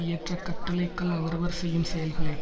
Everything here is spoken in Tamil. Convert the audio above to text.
ஏற்ற கட்டளைக்கல் அவரவர் செய்யும் செயல்களே